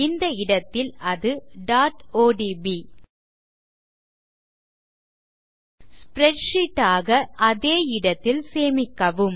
இந்த இடத்தில் அது odb ஸ்ப்ரெட்ஷீட் ஆக அதே இடத்தில் சேமிக்கவும்